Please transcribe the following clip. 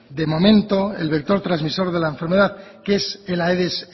de momento el vector trasmisor de la enfermedad que es el aedes